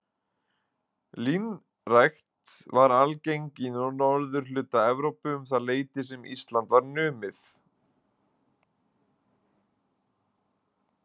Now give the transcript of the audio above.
Línrækt var algeng í norðurhluta Evrópu um það leyti sem Ísland var numið.